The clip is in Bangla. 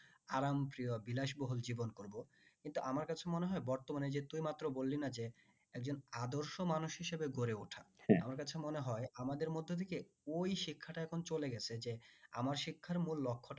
আরাম প্রিয় বিশাল বহুল জীবন করবো কিন্তু আমার কাছে মনে হয় বর্তমানে যে তুই এই মাত্র বললি না যে একজন আদর্শ মানুষ হিসাবে গড়ে ওটা আমার কাছে মনে হয় আমাদের মধ্য থেকে ওই শিক্ষাটা এখন চলে গেছে যে আমার শিক্ষার মূল লক্ষটাই